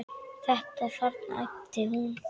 Þetta þarna, æpti hún.